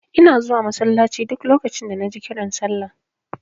Ina zuwa masallaci duk lokacin da naji kiran sallah.